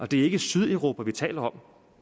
det er ikke sydeuropa vi taler om